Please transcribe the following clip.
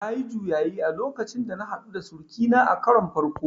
Nayi juyayi a lokacin da na haɗu da sirikina a karon farko